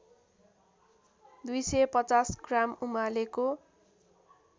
२५० gram उमालेको